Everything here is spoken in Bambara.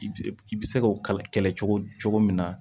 I i bɛ se k'o kɛlɛ cogo cogo cogo min na